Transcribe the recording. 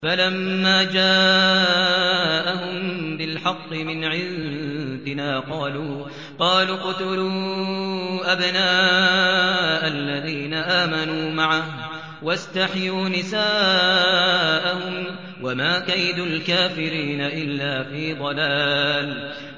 فَلَمَّا جَاءَهُم بِالْحَقِّ مِنْ عِندِنَا قَالُوا اقْتُلُوا أَبْنَاءَ الَّذِينَ آمَنُوا مَعَهُ وَاسْتَحْيُوا نِسَاءَهُمْ ۚ وَمَا كَيْدُ الْكَافِرِينَ إِلَّا فِي ضَلَالٍ